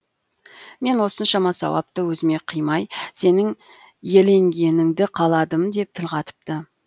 мен осыншама сауапты өзіме қимай сенің иеленгеніңді қаладым деп тіл қатыпты